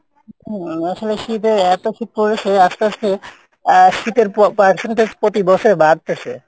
হম আসলে শীতের এতো শীত পরেসে আস্তে আস্তে আহ শীতের pe~percentage প্রতি বছরে বাড়তেসে